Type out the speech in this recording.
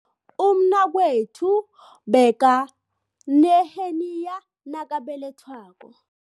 Umnakwethu bekaneheniya nakabelethwako.